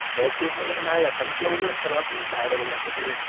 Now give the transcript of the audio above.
web series नाही आता तुला बोललो ना सर्वातूनच बाहेर आलो नको ते